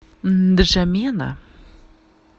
нджамена